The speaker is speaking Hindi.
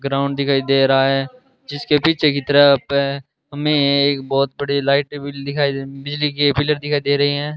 ग्राउंड दिखाई दे रहा है जिसके पीछे की तरफ हमे एक बहुत बड़ी लाइट टेबल दिखाई दे बिजली के पिलर दिखाई दे रहे है।